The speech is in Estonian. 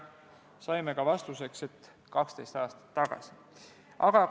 Saime vastuseks, et 12 aastat tagasi.